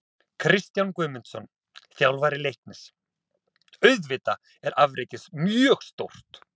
Kristján Guðmundsson, þjálfari Leiknis: Auðvitað er afrekið mjög stórt.